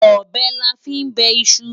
Ọbẹ̀ la fí ń bẹ iṣu.